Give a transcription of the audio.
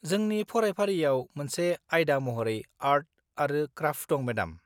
जोंनि फरायफारियाव मोनसे आयदा महरै आर्ट आरो क्राफ्ट दं, मेडाम।